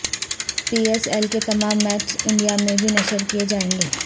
پی S L کے تمام matches India میں بھی نشر کیے جائیں گے